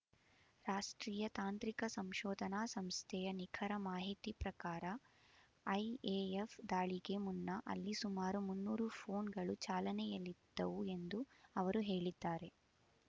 ರಾಷ್ಟ್ರೀಯ ತಾಂತ್ರಿಕ ಸಂಶೋಧನಾ ಸಂಸ್ಥೆಯ ನಿಖರ ಮಾಹಿತಿ ಪ್ರಕಾರ ಐಎಎಫ್ ದಾಳಿಗೆ ಮುನ್ನ ಅಲ್ಲಿ ಸುಮಾರು ಮುನ್ನೂರು ಫೋನ್ ಗಳು ಚಾಲನೆ ಯಲ್ಲಿದ್ದವು ಎಂದೂ ಅವರು ಹೇಳಿದ್ದಾರೆ